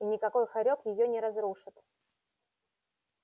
и никакой хорёк её не разрушит